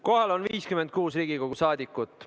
Kohal on 56 Riigikogu liiget.